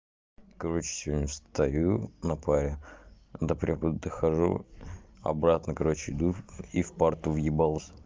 короче сегодня встаю на паре до преподавателя дохожу обратно короче иду и в парту въебался